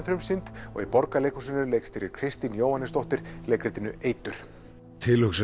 frumsýnd og í Borgarleikhúsinu leikstýrir Kristín Jóhannesdóttir leikritinu eitur tilhugsunin